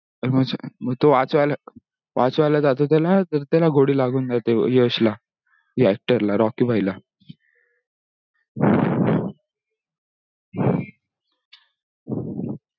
तो तो वाचवायला जातो त्याला त्याला गोळी लागून जाते यश ला हा actor ला रॉकी भाई ला